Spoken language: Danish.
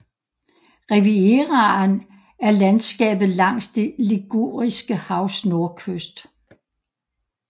Rivieraen er landskabet langs det Liguriske havs nordkyst